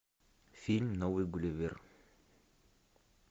фильм новый гулливер